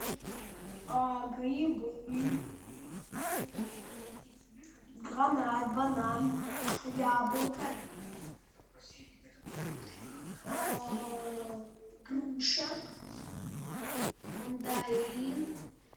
грибы гранат банан яблоко груша мандарин